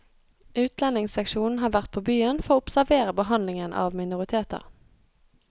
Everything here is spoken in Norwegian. Utlendingsseksjonen har vært på byen for å observere behandlingen av minoriteter.